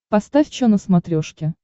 поставь че на смотрешке